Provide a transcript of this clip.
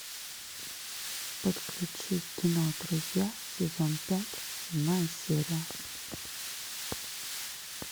подключи кино друзья сезон пять седьмая серия